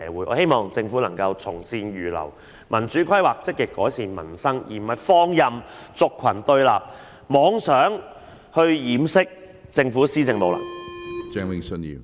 我希望政府能夠從善如流，進行民主規劃，積極改善民生，而不是放任族群對立，妄想以此掩飾政府施政上的無能。